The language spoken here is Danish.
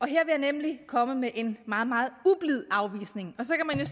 jeg nemlig komme med en meget meget ublid afvisning og så kan